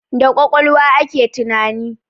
Da kwakwalwa ake tunani